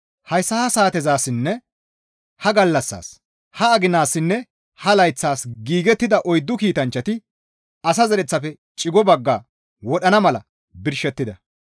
Hayssa ha saatezassinne ha gallassaas, ha aginaassinne ha layththaas giigettida oyddu kiitanchchati asa zereththafe cigo baggaa wodhana mala birshettida.